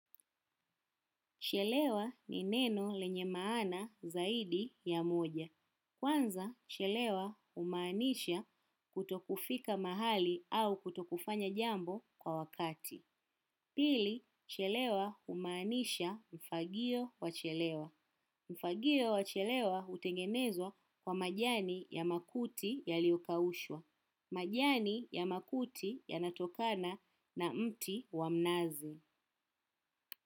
Chelewa ni neno lenye maana zaidi ya moja. Kwanza, chelewa humaanisha kutokufika mahali au kutokufanya jambo kwa wakati. Pili, chelewa umaanisha mfagio wa chelewa. Ufagio wa chelewa hutengenezwa kwa majani ya makuti yaliyokaushwa. Majani ya makuti ya natokana na mti wa mnazi.